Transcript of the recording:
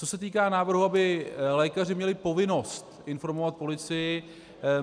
Co se týká návrhu, aby lékaři měli povinnost informovat policii.